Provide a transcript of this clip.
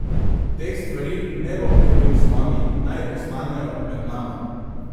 Teh stvari ne bom delil z vami, naj ostanejo med nama.